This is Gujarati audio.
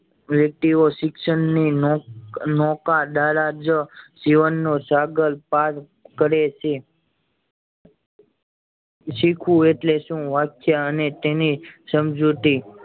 રેતીયો શિક્ષણ ની નૌકા નૌકા દ્વારા જ જીવન નો સાગર પાર કરે છે શીખવું એટલે શું વાત છે અને તેની સમજુતી